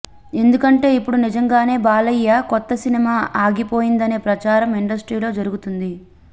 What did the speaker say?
ఎందుకంటే ఇప్పుడు నిజంగానే బాలయ్య కొత్త సినిమా ఆగిపోయిందనే ప్రచారం ఇండస్ట్రీలో జరుగుతుంది